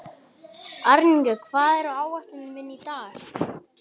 Arnika, hvað er á áætluninni minni í dag?